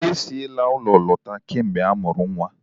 Ha esila n'ulo lota kamgbe o mụrụ nwa.